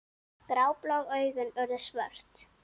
Gráblá augun urðu svört.